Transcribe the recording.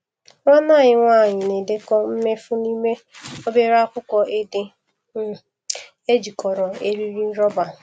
Nwanne anyị nwanyị na-edekọ mmefu n’ime obere akwụkwọ ede um ejikọrọ eriri rọba.